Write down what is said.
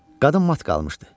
Qadın mat qalmışdı.